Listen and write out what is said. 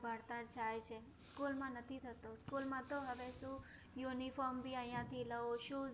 ભણતર થાય છે. School માં નથી થતું. School માં તો હવે શું? uniform ભી આયાથી લઉં, shoes